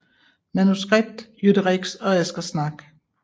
Manuskript Jytte Rex og Asger Schnack